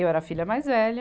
Eu era a filha mais velha.